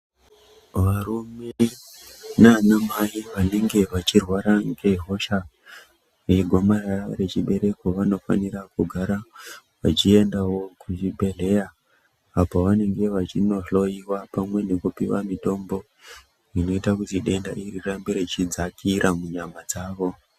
Varume nanamai vanenge vachirwara ngehosha regomarara rechibereko vanofanira kugara vachiendavo kuzvibhedhlera. Apo vanenge vachinohloiwa pamwe nekupiva mitombo inoita kuti denda iri rirambe rechidzakira munyama dzavo.